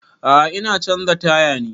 A'a ina canza taya ne